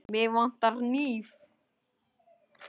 Mig vantar hníf.